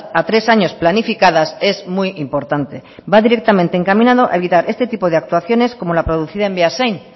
a tres años planificadas es muy importante va directamente encaminado a evitar este tipo de actuaciones como la producida en beasain